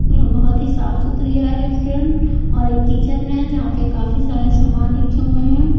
बहुत ही साफ सुथरी है रेस्टोरेंट और एक किचन है जहाँ पे काफी सारे सामान रखे हुए है।